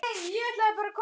kallaði Bylgja á móti.